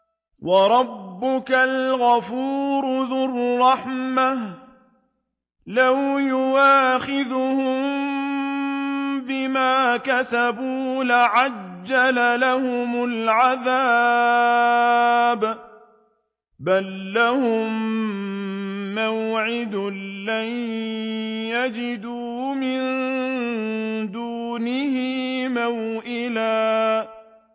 وَرَبُّكَ الْغَفُورُ ذُو الرَّحْمَةِ ۖ لَوْ يُؤَاخِذُهُم بِمَا كَسَبُوا لَعَجَّلَ لَهُمُ الْعَذَابَ ۚ بَل لَّهُم مَّوْعِدٌ لَّن يَجِدُوا مِن دُونِهِ مَوْئِلًا